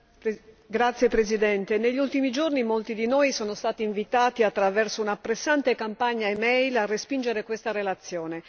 Signor Presidente, negli ultimi giorni molti di noi sono stati invitati attraverso una pressante campagna e mail a respingere questa relazione.